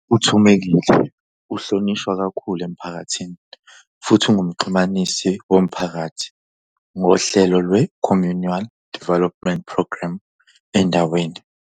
UThumekile uhlonishwa kakhulu emphakathini futhi unguMxhumanisi woMphakathi ngohlelo lwe-Communial Development Programme endaweni.